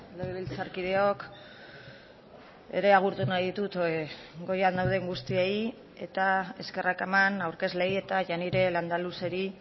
legebiltzarkideok ere agurtu nahi ditut goian dauden guztiei eta eskerrak eman aurkezleei eta janire landaluzeri